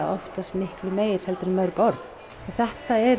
oftast miklu meir heldur en mörg orð þetta